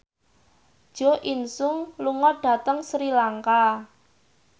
Jo In Sung lunga dhateng Sri Lanka